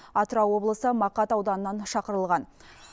атырау облысы мақат ауданынан шақырылған